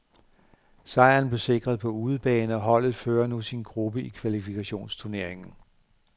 Sejren blev sikret på udebane, og holdet fører nu sin gruppe i kvalifikationsturneringen.